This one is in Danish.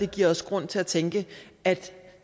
giver os grund til at tænke at